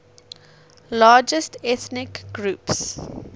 largest ethnic groups